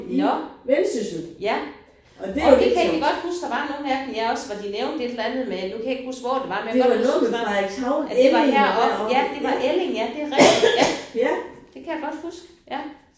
Nåh ja! Jo det kan jeg egenlig godt huske der var nogle af dem ja også hvor de nævnte et eller andet med nu kan jeg ikke huske hvor det var men men jeg kan godt huske det var at det var heroppe ja det var Elling ja det er rigtigt ja det kan jeg godt huske ja